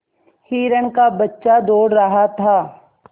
हिरण का बच्चा दौड़ रहा था